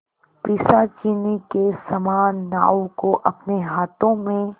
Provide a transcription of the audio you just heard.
पिशाचिनी के समान नाव को अपने हाथों में